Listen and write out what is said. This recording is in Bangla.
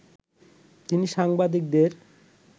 তিনি সাংবাদিকদের